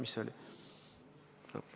Mis see oli?